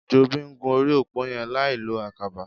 Jobi n gún óri ópó yèn lái ló àkàbà